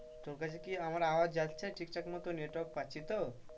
তোর কাছে কি আমার আওয়াজ যাচ্ছে ঠিক থাক মতো Network পাচ্ছিস তো?